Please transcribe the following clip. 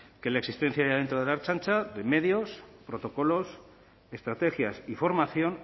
que la existencia dentro de la ertzaintza de medios protocolos estrategias y formación